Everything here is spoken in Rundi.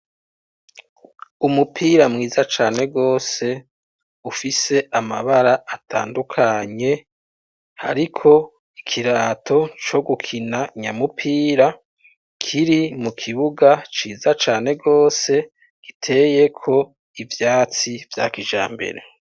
Umupira mwiza cane gose ufise amabara atandukanye hariko ikirato co gukina nyamupira kiri mu kibuga ciza cane gose giteye ko ivyatsi vya kija mbere.